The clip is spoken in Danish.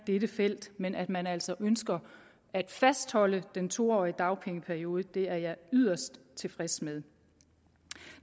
dette felt men at man altså ønsker at fastholde den to årige dagpengeperiode det er jeg yderst tilfreds med